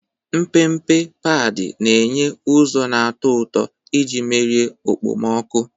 Mpempe padi na-enye ụzọ na-atọ ụtọ iji merie okpomọkụ.